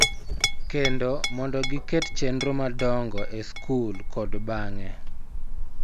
Kendo mondo giket chenro madongo e skul kod bang�e.